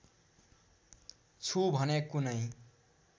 छु भने कुनै